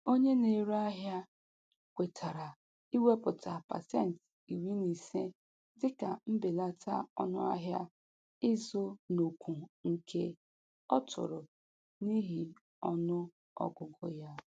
Onye na-ere ahịa kwetara iwepụta pasenti iri na ise dịka mbelata ọnụ ahịa ịzụ n'ukwunke ọ tụrụ n'ihi ọnụ ọgụgụ ya.